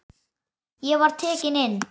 Ég var tekinn inn.